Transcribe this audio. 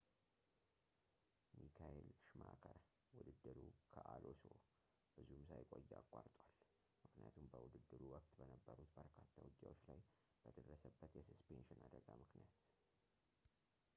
ሚካኤል ሽማከር ውድድሩ ከአሎሶ ብዙም ሳይቆይ አቋርጧል ምክንያቱም በውድድሩ ወቅት በነበሩት በርካታ ውጊያዎች ላይ በደረሰበት የሰስፔንሽን አደጋ ምክንያት